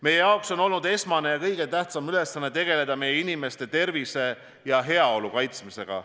Meie jaoks on olnud esmane ja kõige tähtsam ülesanne tegeleda meie inimeste tervise ja heaolu kaitsmisega.